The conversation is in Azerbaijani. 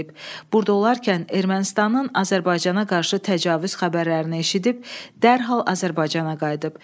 Burda olarkən Ermənistanın Azərbaycana qarşı təcavüz xəbərlərini eşidib, dərhal Azərbaycana qayıdıb.